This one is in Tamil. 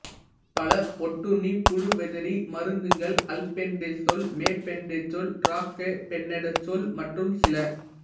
பல ஒட்டுண்ணிப் புழுவெதிரி மருந்துகள் அல்பென்டசோல் மெபென்டசோல் டிரைகிளாபென்டசோல் மற்றும் சில